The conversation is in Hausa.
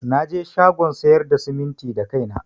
Naje shagon sayar da simintin da kaina.